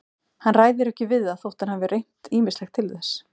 Hann ræður ekki við það þótt hann hafi reynt ýmislegt til þess.